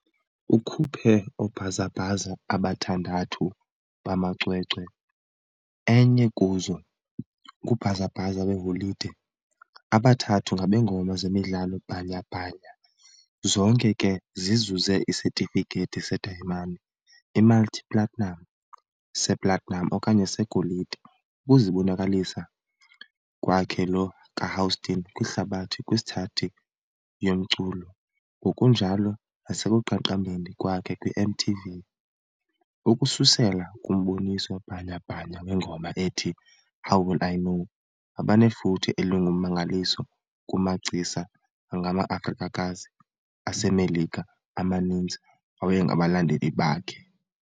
Ukhuphe oobhazabhaza abathandathu bamacwecwe, enye kuzo ngubhazabhaza weeholide abathathu ngabeengoma zemidlalo bhanyabhanya, zonke ke zizuze isetifikethi sedayimani, i-multi-platinum, se-platinum okanye segolide, ukuzibonakalisa kwakhe lo kaHouston kwihlabathi kwithsathi yomculo, ngokunjalo nasekuqaqambeni kwakhe kwiMTV, ukususela kumboniso bhanyabhanya wengoma ethi "How Will I Know", abanefuthe elingummangaliso kumagcisa angamaAfrikakazi aseMelika amaninzi awayengabalandeli bakhe .